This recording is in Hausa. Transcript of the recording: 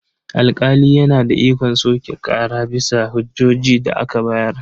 Alƙali yana da ikon soke ƙara bisa hujjojin da aka bayar.